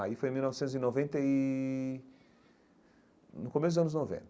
Aí foi mil novecentos e noventa e... no começo dos anos noventa.